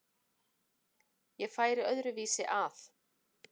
Ég færi öðru vísi að.